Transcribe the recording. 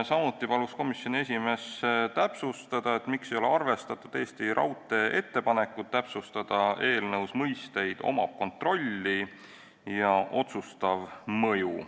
Samuti palus komisjoni esimees täpsustada, miks ei ole arvestatud Eesti Raudtee ettepanekut täpsustada eelnõus mõisteid "omab kontrolli" ja "otsustav mõju".